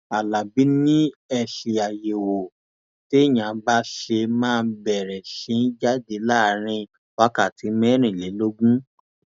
alábí ni èsì àyẹwò téèyàn bá ṣe máa bẹrẹ sí í jáde láàrin wákàtí mẹrìnlélógún